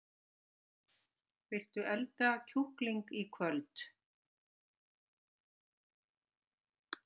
Viljiði elda kjúkling í kvöld?